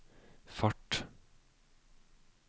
fart